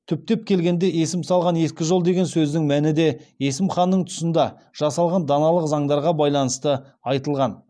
түптеп келгенде есім салған ескі жол деген сөздің мәні де есім ханның тұсында жасалған даналық заңдарға байланысты айтылған